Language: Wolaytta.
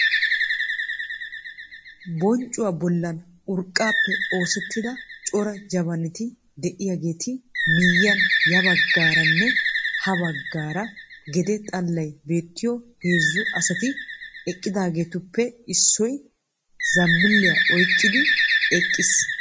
Bonccuwa bollan urqqaappe oosettida cora jabnti de'yageetu miyyiyan yabaggassaaranne habaaggassaara gede xallay beettiyo heezzu asati eqqidageetuppe issoy zambbiliya oyqqidi eqqiis.